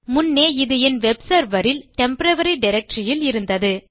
முன்னே இது என் வெப் செர்வர் இல் டெம்போரரி டைரக்டரி இல் இருந்தது